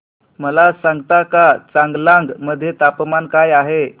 मला सांगता का चांगलांग मध्ये तापमान काय आहे